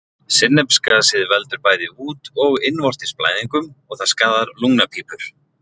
Sinnepsgasið veldur bæði út- og innvortis blæðingum og það skaðar lungnapípur.